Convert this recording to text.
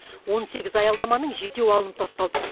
он сегіз аялдаманың жетеуі алынып тасталды